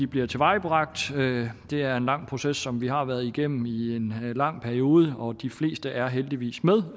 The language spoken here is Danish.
bliver tilvejebragt det er en lang proces som vi har været igennem i en lang periode og de fleste er heldigvis med